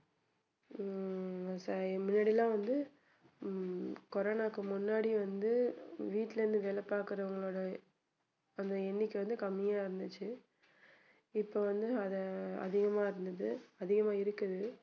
ஹம் இப்போ முன்னாடி எல்லாம் வந்து உம் கொரோனாவுக்கு முன்னாடி வந்து வீட்ல இருந்து வேலை பார்க்குவங்களோட அந்த எண்ணிக்கை வந்து கம்மியா இருந்துச்சு இப்போ வந்து அதை அதிகமா இருந்தது அதிகமா இருக்குது